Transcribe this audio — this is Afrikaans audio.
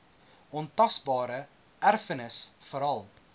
ontasbare erfenis veral